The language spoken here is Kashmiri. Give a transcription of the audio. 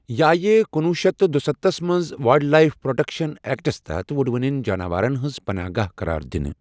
یہِ آیہ کُنوُہ شیٚتھ تہٕ دُستتھس منٛز وایلڈ لایف پروٹیکشن ایکٹس تحت وُڑوٕنٮ۪ن جاناوارن ہٕنٛز پناہگاہ قرار دِنہٕ۔